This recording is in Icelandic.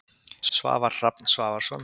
Svavar Hrafn Svavarsson.